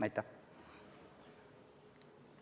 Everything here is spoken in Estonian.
Aitäh!